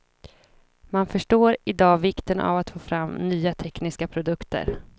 Man förstår i dag vikten av att få fram nya tekniska produkter.